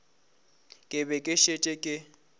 ke be ke šetše ke